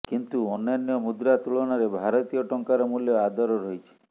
କିନ୍ତୁ ଅନ୍ୟାନ୍ୟ ମୁଦ୍ରା ତୁଳନାରେ ଭାରତୀୟ ଟଙ୍କାର ମୂଲ୍ୟ ଆଦର ରହିଛି